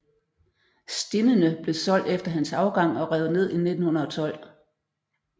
Stinnene blev solgt efter hans afgang og revet ned i 1912